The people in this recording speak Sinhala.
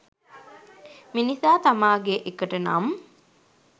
මිනිසා තමාගේ එකට නම්